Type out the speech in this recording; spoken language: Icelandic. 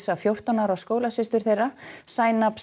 fjórtán ára skólasystur þeirra